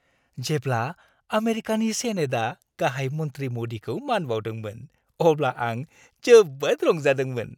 जेब्ला आमेरिकानि सेनेटआ गाहाय मन्थ्रि मदिखौ मान बाउदोंमोन अब्ला आं जोबोद रंजादोंमोन।